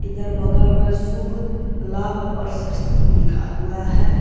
इधर बगल में शुभ-लाभ और स्वस्तिक लिखा हुआ है।